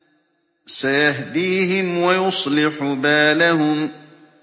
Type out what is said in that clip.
سَيَهْدِيهِمْ وَيُصْلِحُ بَالَهُمْ